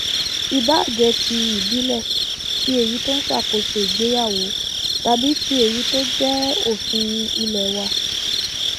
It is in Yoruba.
ìbáà jẹ ti ìbílẹ tí èyí tó ń ṣàkóso ìgbéyàwó tàbí tí èyí tó jẹ òfin ilé wà